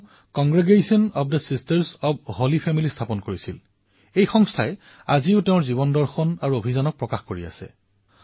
তেওঁ Congregation of the Sisters of the Holy Family ৰ স্থাপন কৰিছিল যিয়ে আজিও তেওঁৰ জীৱনদৰ্শন আৰু অভিযানক আগুৱাই নি আছে